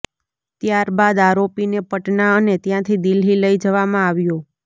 ત્યારબાદ આરોપીને પટના અને ત્યાંથી દિલ્લી લઇ જવામાં આવ્યો